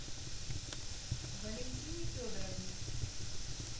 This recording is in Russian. валентине федоровне